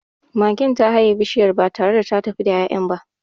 Magen ta haye bishiyar ba tare da ta tafi da ya'yan ba.